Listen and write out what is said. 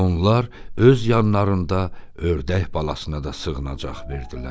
Onlar öz yanlarında ördək balasına da sığınacaq verdilər.